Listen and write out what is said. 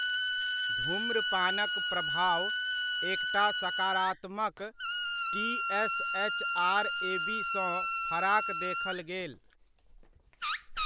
धूम्रपानक प्रभाव एकटा सकारात्मक टी.एस.एच.आर एबीसँ फराक देखल गेल।